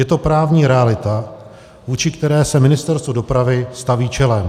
Je to právní realita, vůči které se Ministerstvo dopravy staví čelem.